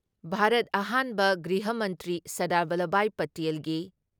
ꯚꯥꯔꯠ ꯑꯍꯥꯟꯕ ꯒ꯭ꯔꯤꯍ ꯃꯟꯇ꯭ꯔꯤ ꯁꯔꯗꯥꯔ ꯚꯜꯂꯕꯚꯥꯏ ꯄꯇꯦꯜꯒꯤ